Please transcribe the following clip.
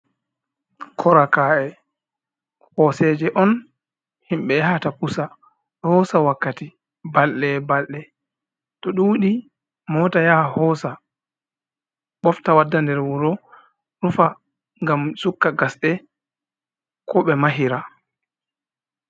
Kora ka’e, hoseje on himɓɓe yahata pusa, ɗo hosa wakkati, balɗe e balɗe to ɗuɗi mota yaha hosa ɓofta wadda nder wuro rufa, ngam sukka gasɗe ko ɓe mahira.